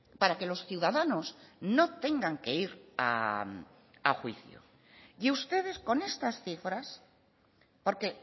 para que los ciudadanos no tengan que ir a juicio y ustedes con estas cifras porque